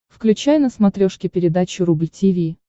включай на смотрешке передачу рубль ти ви